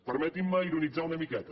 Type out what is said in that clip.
permetin me ironitzar una miqueta